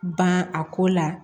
Ban a ko la